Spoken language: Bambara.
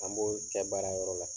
An b'o kɛ baarayɔrɔ la.